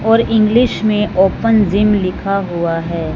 और इंग्लिश में open gym लिखा हुआ है।